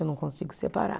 Eu não consigo separar.